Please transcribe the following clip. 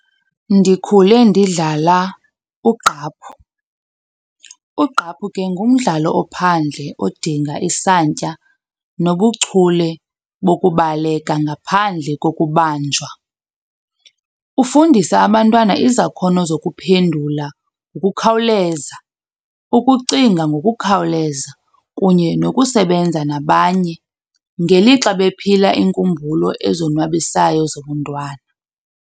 Ndikhule ndidlala ugqaphu. Ugqaphu ke ngumdlalo ophandle odinga isantya nobuchule bokubaleka ngaphandle kokubanjwa. Ufundisa abantwana izakhono zokuphendula ngokukhawuleza, ukucinga ngokukhawuleza kunye nokusebenza nabanye ngelixa bephila iinkumbulo ezonwabisayo zobuntwana.